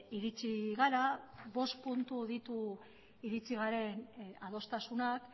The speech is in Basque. iritsi gara bost puntu ditu iritsi garen adostasunak